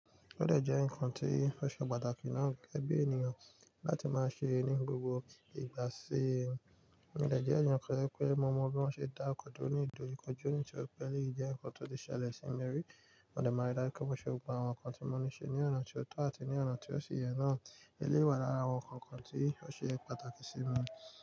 Ọ̀dẹ̀ jẹ́ nǹkan tí ó ṣe pàtàkì náà gẹ́gẹ́ bí ènìyàn láti máa ṣe ní gbogbo ìgbà sí i. Mo dẹ̀ jẹ́ ẹ̀ẹ̀yan kan to je, pé mo mọ bí wọ́n ṣe dá ọkọ̀ duro ní ìdòjúkọjú nitori pẹ̀ eleyi jẹ nnkan tó le ṣẹlẹ̀ sí mi rí. Mo dẹ̀ máa rí dájú pé mo ṣe gbogbo àwọn nǹkan tí mo ní ṣe ní ọ̀nà tó tọ́ àti ní ọ̀nà tí ó ṣi yẹ náà. Eléyi wà lára, àwọn nǹkan kan tí ó ṣe pàtàkì sí mi.